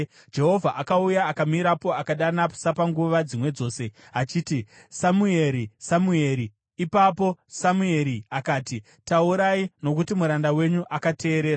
Jehovha akauya akamirapo, akadana sapanguva dzimwe dzose achiti, “Samueri! Samueri!” Ipapo Samueri akati, “Taurai, nokuti muranda wenyu akateerera.”